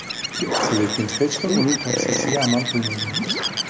Lekin hech kim uning tavsiyasiga amal qilmagan.